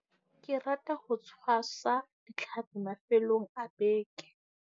Ke rata ho tshwasa ditlhapi mafelong a beke.